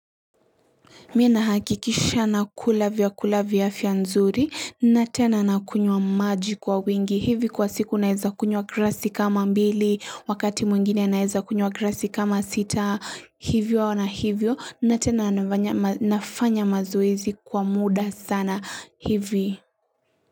Mimi ninahakikisha nakula vyakula vya afia nzuri na tena nakunywa maji kwa wingi. Hivi kwa siku naeza kunywa glasi kama mbili wakati mwingine naeza kunywa glasi kama sita hivyo na hivyo na tena nafanya mazoezi kwa muda sana hivi.